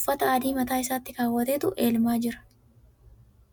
uffata adii mataa isaatti kaawwatetu elmaa jira..